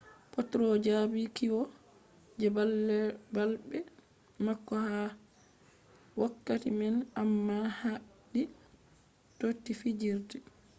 potro jabi kiwo je balbe mako ha wokkati man amma habdi toti fijirde